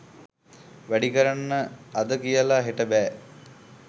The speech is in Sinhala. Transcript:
වැඩි කරන්න අද කියලා හෙට බෑ.